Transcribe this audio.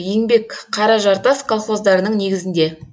еңбек қаражартас колхоздарының негізінде